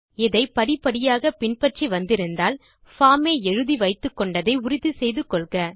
இதை படிப்படியாக பின் பற்றி வந்திருந்தால் பார்ம் ஐ எழுதி வைத்துக்கொண்டதை உறுதி செய்து கொள்க